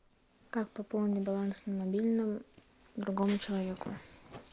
как пополнить баланс на мобильном другому человеку